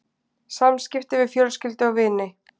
SAMSKIPTI VIÐ FJÖLSKYLDU OG VINI